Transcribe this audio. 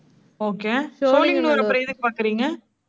okay Sholinganallur அப்புறம் எதுக்கு பாக்குறீங்க?